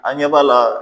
An ɲɛ b'a la